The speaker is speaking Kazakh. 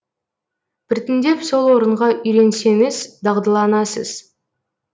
біртіндеп сол орынға үйренсеңіз дағдыланасыз